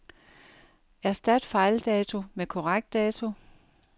Erstat fejldato med korrekt dato.